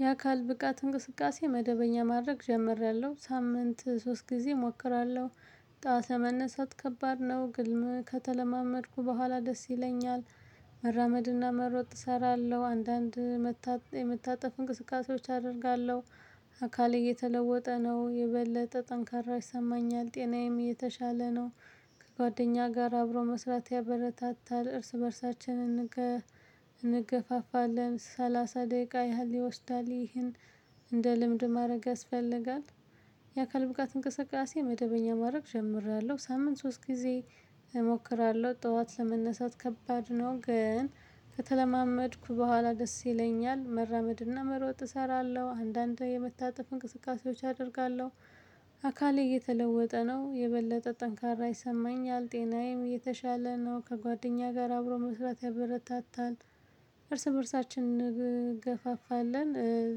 የአካል ብቃት እንቅስቃሴ መደበኛ ማድረግ ጀምሬያለው ሳምንት ሶስት ጊዜ እሞክራለው። ጠዋት ለመነሳት ከባድ ነው ግን ከተለማመድኩ በኋላ ደስ ይለኛል። መራመድና መሮጥ እሰራለው። አንዳንድ የመታጠፍ እንቅስቃሴዎች አደርጋለው። አካሌ እየተለወጠ ነው የበለጠ ጠንካራ ይሰማኛል ጤናዬም የተሻለ ነው። ከጓደኛ ጋር አብሮ መስራት ያበረታታል እርስ በእርሳችን። እንገፋፋለን ሰላሳ ደቂቃ ያህል ይወስዳል ይህን እንደ ልምድ ማረግ ያስፈልጋል። የአካል ብቃት እንቅስቃሴ መደበኛ ማረግ ጀምሬያለው በሳምንት ሶስት ጊዜ። እሞክራለው ጠዋት ለመነሳት ከባድ ነው ግን ከተለማመድኩ በኋላ ደስ ይለኛል። መራመድና መሮጥ እሰራለው አንዳንዴ የመታጠፍ እንቅስቃሴዎች አደርጋለው። አካሌ እየተለወጠ ነው የበለጠ ጠንካራ ይሰማኛል ጤናዬም እየተሻለ ነው ከጓደኛዬ ጋር አብሮ መስራት ያበረታታል። እርስ በእርሳችን እንገፋፋለን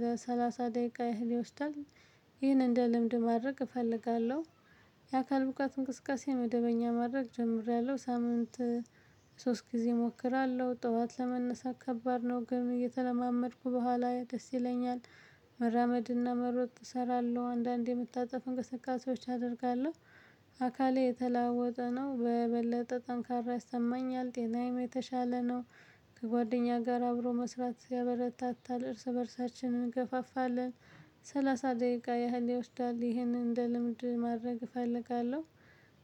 ለሰላሳ ደቂቃ ያህል ይወስዳል። ይህን እንደ ልምድ ማድረግ እፈልጋለው። የአካል ብቃት እንቅስቃሴ መደበኛ ማድረግ ጀምሬያለው ሳምንት። ሶስት ጊዜ እሞክራለው ጠዋት ለመነሳት ከባድ ነው ግን እየተለማመድኩ በኋዬ ደስ ይለኛል። መራመድና መሮጥ እሰራለው አንዳንዴ የመታጠፍ እንቅስቃሴዎች አደርጋለው። አካሌ እተላወጠ ነው በበለጠ ጠንካራ ያሰማኛል ጤናዬም የተሻለ ነው። ከጓደኛ ጋር አብሮ መስራት ያበረታታል እርስ በእርሳችን እንገፋፋለን። ሰላሳ ደቂቃ ያህል ይወስዳል ይሄንን እንደ ልምድ ማድረግ እፈልጋለው።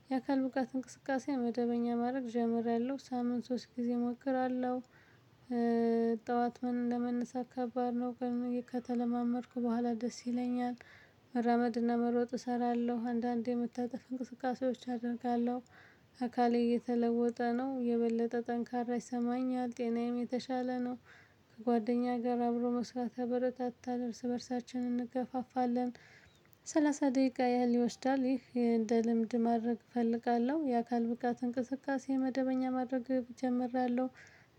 የአካል ብቃት እንቅስቃሴ መደበኛ ማረግ ጀምሬያለው በሳምንት ሶስት ጊዜ እሞክራለው። ጠዋት ምን ለመነሳት ከባድ ነው ቀድሜ ከተለማመድኩ በኋላ ደስ ይለኛል። መራመድና መሮጥ እሰራለው አንዳንዴ የመታጠፍ እንቅስቃሴዎች አደርጋለው። አካሌ እየተለወጠ ነው የበለጠ ጠንካራ ይሰማኛል ጤናዬም የተሻለ ነው። ከጓደኛ ጋር አብሮ መስራት ያበረታታል እርስ በእርሳችን እንገፋፋለን። ሰላሳ ደቂቃ ያህል ይወስዳል ይህ እንደ ልምድ ማድረግ እፈልጋለው የአካል ብቃት እንቅስቃሴ መደበኛ ማድረግ ጀምሬያለው።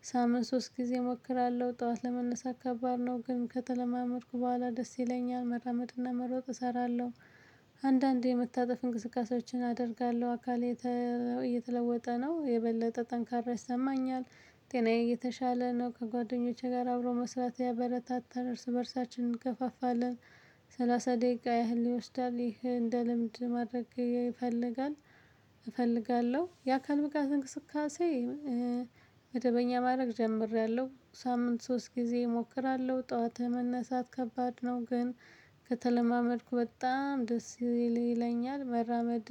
በሳምንት ሶስት ጊዜ እሞክራለው ጠዋት ለመነሳት ከባድ ነው ግን ከተለማመድኩ በኋላ ደስ ይለኛል መራመድና መሮጥ እሰራለው። አንዳንድ የመታጠፍ እንቅስቃሴዎችን አደርጋለው አካሌ እየተለወጠ ነው የበለጠ ጠንካራ ይሰማኛል። ጤናዬ እየተሻለ ነው ከጓደኞቼ ጋር አብሮ መስራት ያበረታታል እርስ በእርሳችን እንገፋፋለን። ሰላሳ ደቂቃ ያህል ይወስዳል ይሄ እንደ ልምድ ማድረግ ይፈልጋል። እፈልጋለው የአካል ብቃት እንቅስቃሴ መደበኛ ማድረግ ጀምሬያለው። ሳምንት ሶስት ጊዜ እሞክራለው ጠዋት ለመነሳት ከባድ ነው ግን ከተለማመድኩ በጣም ደስ ይለኛል መራመድ።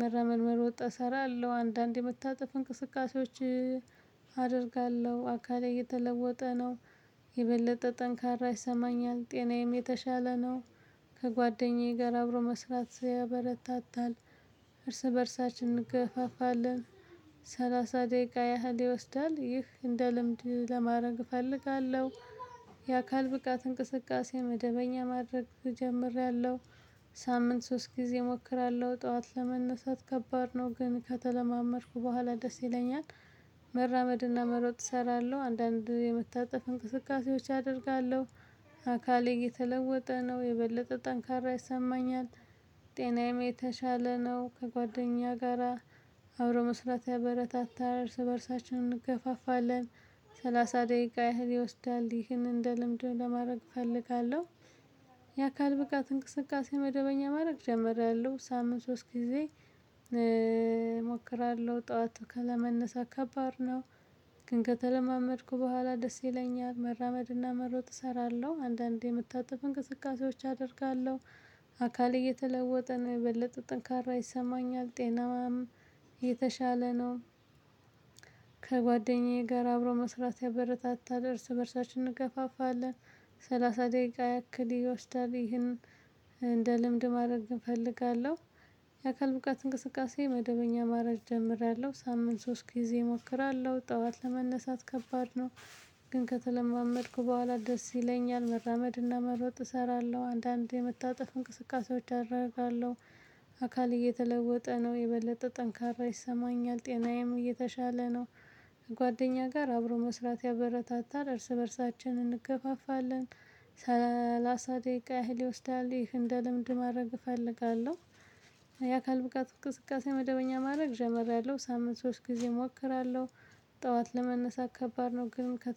መራመድ መሮጥ እሰራለው አንዳንዴ የመታጠፍ እንቅስቃሴዎች። አደርጋለው አካሌ እየተለወጠ ነው። የበለጠ ጠንካራ ይሰማኛል ጤናዬም የተሻለ ነው። ከጓደኛዬ ጋር አብሮ መስራት ያበረታታል። እርስ በእርሳችን እንገፋፋለን። ሰላሳ ደቂቃ ያህል ይወስዳል ይህ እንደ ልምድ ለማድረግ እፈልጋለው። የአካል ብቃት እንቅስቃሴ መደበኛ ማድረግ ጀምሬያለው። በሳምንት ሶስት ጊዜ እሞክራለው ጠዋት ለመነሳት ከባድ ነው ግን ከተለማመድኩ በኋላ ደስ ይለኛል። መራመድና መሮጥ እሰራለው አንዳንድ የመታጠፍ እንቅስቃሴዎች አደርጋለው። አካሌ እየተለወጠ ነው የበለጠ ጠንካራ ይሰማኛል። ጤናዬም የተሻለ ነው ከጓደኛ ጋራ አብሮ መስራት ያበረታታል እርስ በእርሳችን እንገፋፋለን። ሰላሳ ደቂቃ ያህል ይወስዳል ይህንን እንደ ልምድ ለማድረግ እፈልጋለው። የአካል ብቃት እንቅስቃሴ መደበኛ ማድረግ ጀመሬያለው ሳምንት ሶስት ጊዜ ጠዋት ከለመነሳ ከባድ ነው። ግን ከተለማመድኩ በኋላ ደስ ይለኛል መራመድና መሮጥ እሰራለው አንዳንዴ የመታጠፉ እንቅስቃሴዎች አደርጋለው። አካሌ እየተለወጠ ነው የበለጠ ጠንካራ ይሰማኛል ጤናማም የተሻለ ነው። ከጓደኛዬ ጋር አብሮ መስራት ያበረታታል እርስ በእርሳችን እንገፋፋለን። ሰላሳ ደቂቃ ያክል ይወስዳል ይሄንን። እንደ ልምድ ማድረግ እፈልጋለው። የአካል ብቃት እንቅስቃሴ መደበኛ ማረግ ጀምሬያለው ሳምንት ሶስት ጊዜ እሞክራለው ጠዋት ለመነሳት ከባድ ነው። ግን ከተለማመድኩ በኋላ ደስ ይለኛል መራመድና መሮጥ እሰራለው አንዳንዴ የመታጠፍ እንቅስቃሴዎች አደርጋለው። አካል እየተለወጠ ነው የበለጠ ጠንካራ ይሰማኛል ጤናዬም እየተሻለ ነው። ከጓደኛ ጋር አብሮ መስራት ያበረታታል እርስ በእርሳችን እንገፋፋለን። ሰላሳ ደቂቃ ያህል ይወስዳል ይህን እንደ ልምድ ማድረግ እፈልጋለው። የአካል ብቃት እንቅስቃሴ መደበኛ ማድረግ ጀመረያለው ሳምንት ሶስት ጊዜ እሞክራለው። ጠዋት ለመነሳት ከባድ ነው ግን ከ